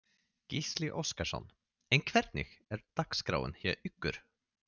Gísli Óskarsson: En hvernig er dagskráin hjá ykkur?